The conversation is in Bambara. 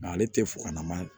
Mɛ ale tɛ fokalama